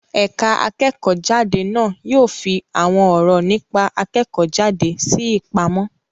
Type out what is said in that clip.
Ẹ̀ka akẹ́kọ̀ọ́-jáde na yóò fi àwọn ọ̀rọ̀ nípa akẹ́kọ̀ọ́-jáde sí ìpamọ́.